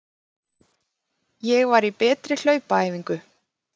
Ég var í betri hlaupaæfingu.